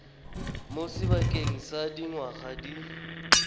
mo sebakeng sa dingwaga di